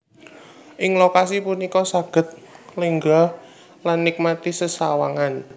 Ing lokasi punika saged lenggah lan nikmati sesawangan